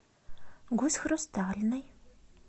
гусь хрустальный